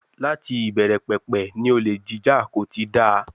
Láti ìbẹ̀rẹ̀pẹ̀pẹ̀ ni olè jíjà kò ti dáa.